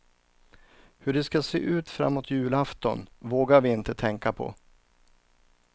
Hur det ska se ut framåt julafton vågar vi inte tänka på.